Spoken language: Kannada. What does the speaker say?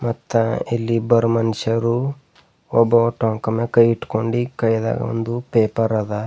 ಮತ್ತ ಇಲ್ಲಿ ಇಬ್ಬರು ಮನಶ್ಯಾರು ಒಬ್ಬವ ಟಂಕ ಮ್ಯಾಲ ಕೈ ಈತಕೊಂಡಿ ಕೈಯದ ಒಂದು ಪೇಪರ್ ಅದ.